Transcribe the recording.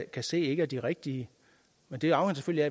kan se ikke er de rigtige men det afhænger